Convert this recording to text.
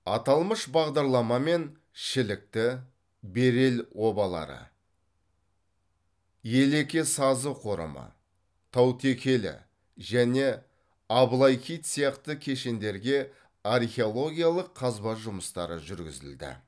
аталмыш бағдарламамен шілікті берел обалары елекесазы қорымы таутекелі және аблайкит сияқты кешендерге археологиялық қазба жұмыстары жүргізілді